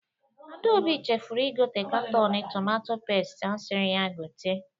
Adaobi chefuru igote katọnụ tometo pesti asịrị ya gote.